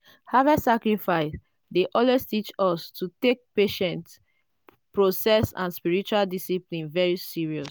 harvest dey always teach us to take patient process and spiritual discipline very seriously.